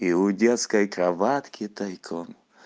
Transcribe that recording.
и у детской кроватки тайком